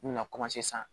N mi na san